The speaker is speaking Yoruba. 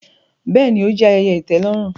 Bẹẹni, o jẹ ayẹyẹ itẹlọrun